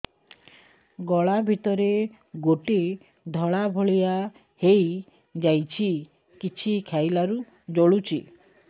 ଗଳା ଭିତରେ ଗୋଟେ ଧଳା ଭଳିଆ ହେଇ ଯାଇଛି କିଛି ଖାଇଲାରୁ ଜଳୁଛି